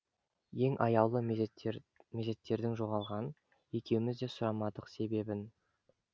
ең аяулы мезеттердің жоғалған екеуміз де сұрамадық себебін